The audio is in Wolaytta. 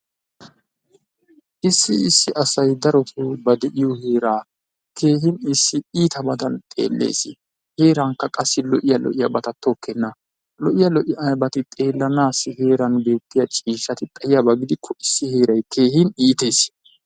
issi issi asay daroto ba deiyo heeraa keehin issi iitabadan xeelees, heerankka qa lo'iya lo'iyabata tokkena. Lo'iya lo'iyabati xeelanassi heeran beetiya ciishshaati xaiyaba gidiko issi heeray keehin iitees.